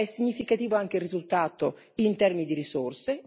È significativo anche il risultato in termini di risorse.